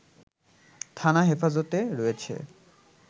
থানা হেফাজতে রয়েছে